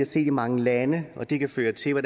set i mange lande og det kan føre til at